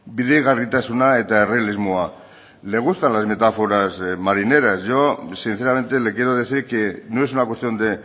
bidegarritasuna eta errealismoa le gustan las metáforas marineras yo sinceramente le quiero decir que no es una cuestión de